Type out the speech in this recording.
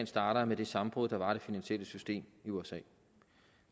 starter med det sammenbrud der var i det finansielle system i usa